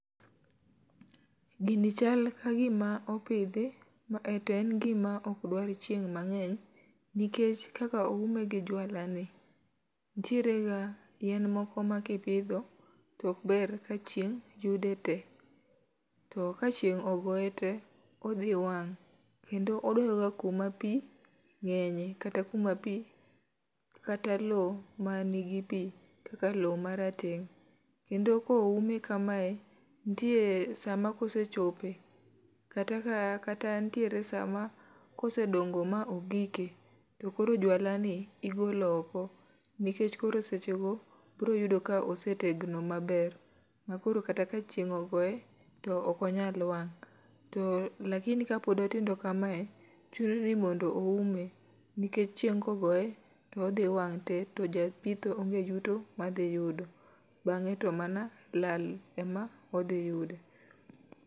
Gini chal ka gima opidhi, to en gima ok dwar chieng' mangény. Nikech kaka oume gi juala ni, nitiere ga yien moko ma ka ipidho, to ok ber ka chieng' yude te. To ka chieng' ogoe te odhi wang'. Kendo odwaroga kama pi ngénye, kata kuma pi, kata lowo ma nigi pi kaka lowo ma rateng'. Kendo koume kamae, nitie sa ma kosechope kata ka kata nitiere sa ma kosedongo ma ogike, to koro juala ni igolo oko. Nikech koro seche go biro yudo ka ose tegno maber. Ma koro kata ka chieng' ogoe to ok onyal wang'. To lakini ka pod otindo kamae, chuno ni mondo oume, nikech chieng' ka ogoe, to odhi wang' te, to ja pitho onge yuto ma dhi yudo, bangé to mana lal ema odhi yudo.